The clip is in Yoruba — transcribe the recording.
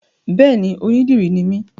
Béèni, onídìrí ni mí